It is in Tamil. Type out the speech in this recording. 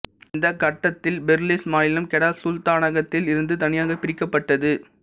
இந்தக் கட்டத்தில் பெர்லிஸ் மாநிலம் கெடா சுல்தானகத்தில் இருந்து தனியாகப் பிரிக்கப்பட்டது